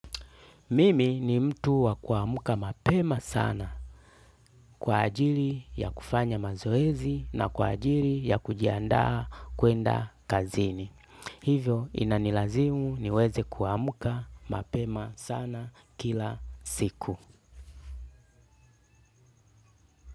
Mimi ni mtu wa kuamka mapema sana kwa ajili ya kufanya mazoezi na kwa ajili ya kujiandaa kuenda kazini. Hivyo inanilazimu niweze kuamka mapema sana kila siku.